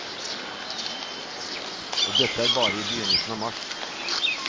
Og dette er bare i begynnelsen av mars.